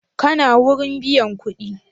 Kana wurin biyan kuɗi?